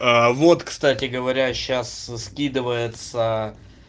вот кстати говоря сейчас скидывается